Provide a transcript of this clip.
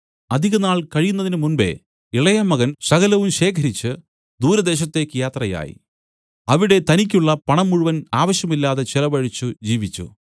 അധികനാൾ കഴിയുന്നതിന് മുമ്പെ ഇളയമകൻ സകലവും ശേഖരിച്ചു ദൂരദേശത്തേക്ക് യാത്രയായി അവിടെ തനിക്കു ഉള്ള പണം മുഴുവൻ ആവശ്യമില്ലാതെ ചെലവഴിച്ചു ജീവിച്ചു